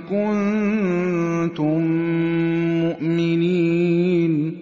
كُنتُم مُّؤْمِنِينَ